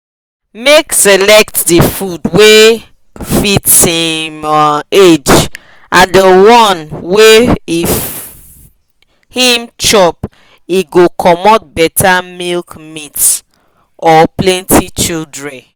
make select the food wa fit him um age abd the one wa if him chop e go comot better milkmeat or plenty childre